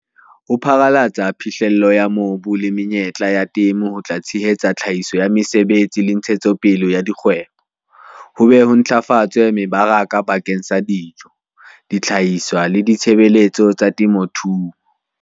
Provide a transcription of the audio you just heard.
Ho pharalatsa phihlello ya mobu le menyetla ya temo ho tla tshehetsa tlhahiso ya mesebetsi le ntshetsopele ya dikgwebo, ho be ho ntlafatse mebaraka bakeng sa dijo, dihlahiswa le ditshebeletso tsa temothuo.